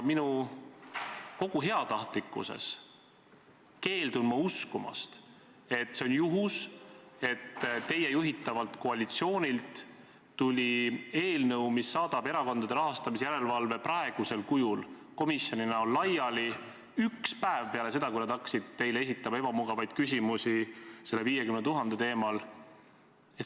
Kogu oma heatahtlikkuses ma keeldun uskumast, et see on juhus, kui teie juhitavalt koalitsioonilt tuleb eelnõu, mis saadab Erakondade Rahastamise Järelevalve Komisjoni praegusel kujul, komisjoni näol laiali, üks päev peale seda, kui nad hakkasid teile esitama ebamugavaid küsimusi selle 50 000 teemal.